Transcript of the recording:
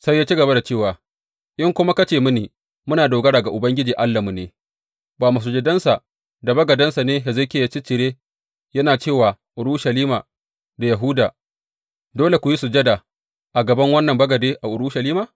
Sai ya ci gaba da cewa, in kuma ka ce mini Muna dogara ga Ubangiji Allahnmu ne, ba masujadansa da bagadansa ne Hezekiya ya ciccire, yana ce wa Urushalima da Yahuda, Dole ku yi sujada a gaban wannan bagade a Urushalima?